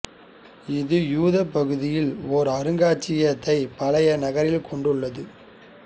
இது யூதப் பகுதியில் ஓர் அருங்காட்சியகத்தை பழைய நகரில் கொண்டுள்ளது